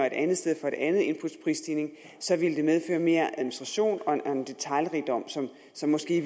et andet sted for et andet inputs prisstigning ville det medføre mere administration og en detailrigdom som måske